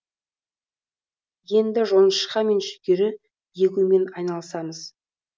енді жоңышқа мен жүгері егумен айналысамыз